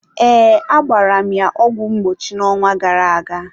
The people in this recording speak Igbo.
ee, agbara m ya ọgwụ mgbochi n'ọnwa gara aga.